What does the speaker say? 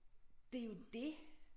Det jo det